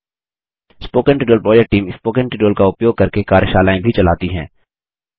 spoken tutorial project team spoken tutorial का उपयोग करके कार्यशालाएँ भी चलाती है